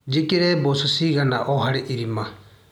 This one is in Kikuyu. Njĩkĩre mboco cigana o harĩ irima.